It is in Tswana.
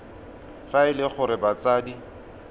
fa e le gore batsadi